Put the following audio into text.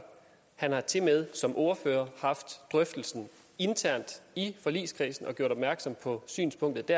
han har tilmed som ordfører haft drøftelsen internt i forligskredsen og gjort opmærksom på synspunktet